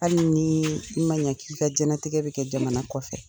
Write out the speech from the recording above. Hali nii i ma ɲa k'i ka jɛnatigɛ be kɛ jamana kɔfɛ